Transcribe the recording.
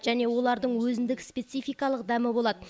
және олардың өзіндік спецификалық дәмі болады